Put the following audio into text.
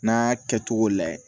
N'a y'a kɛcogo layɛ